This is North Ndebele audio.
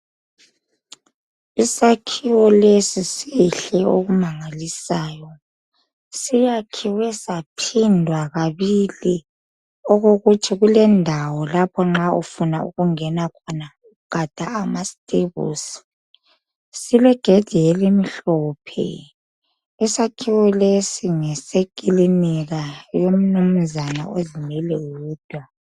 Isakhiwo lesi sihle okumangalisayo siyakhiwe saphindwa kabili okokuthi kulendawo lapho nxa ufuna ukunge khona gada amastebusi silegedi elimhlophe isakhiwo lesi ngesekilinika yomnunzana ozimele yedwa